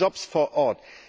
Sie schaffen Jobs vor Ort.